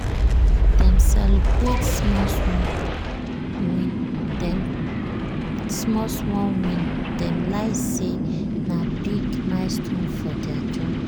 "dem celebrate small-small win dem small-small win dem like say na big milestone for their journey".